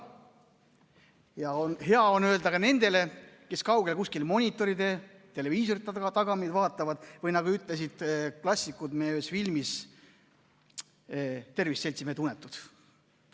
On hea öelda ka nendele, kes kuskil kaugel monitoride, televiisorite taga mind vaatavad, nagu ütlesid klassikud meie ühes filmis: "Tervist, seltsimehed unetud!